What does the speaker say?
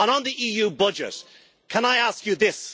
On the EU budget, can I ask you this?